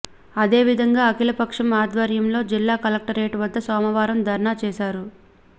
అదేవిధంగా అఖిలపక్షం ఆధ్వర్యంలో జిల్లా కలెక్టరేట్ వద్ద సోమవారం ధర్నా చేశారు